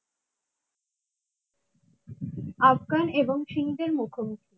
আফগান এবং সিংদের মুখোমুখি